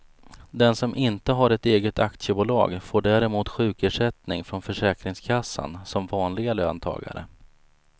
Den som inte har ett eget aktiebolag får däremot sjukersättning från försäkringskassan som vanliga löntagare.